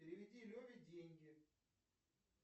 переведи леве деньги